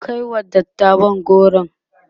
ku kaiwa dattawan goro!